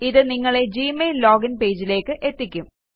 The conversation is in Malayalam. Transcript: ഇത് നിങ്ങളെ ഗ്മെയിൽ ലോഗിന് പേജിലേയ്ക്ക് എത്തിക്കും